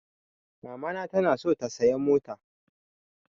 Mamana ta na so ta saya mota